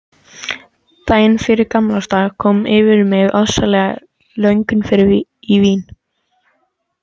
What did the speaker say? Daginn fyrir gamlársdag kom yfir mig ofsaleg löngun í vín.